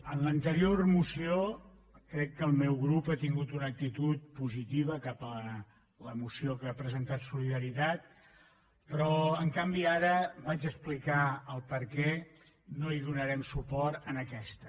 en l’anterior moció crec que el meu grup ha tingut una actitud positiva cap a la moció que ha presentat solidaritat però en canvi ara vaig a explicar el perquè no donarem suport en aquesta